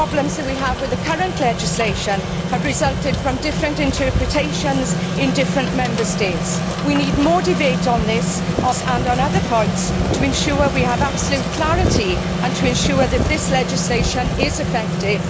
Many problems that we have with the current legislation have resulted from differing interpretations in different Member States. We need more debate on this and on the other points to ensure that we have absolute clarity and to ensure that this legislation is effective.